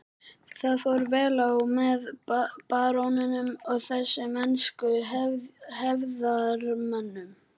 Það fór vel á með baróninum og þessum ensku hefðarmönnum.